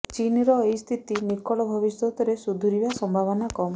ଚୀନର ଏଇ ସ୍ଥିତି ନିକଟ ଭବିଷ୍ୟତରେ ସୁଧୁରିବା ସମ୍ଭାବନା କମ୍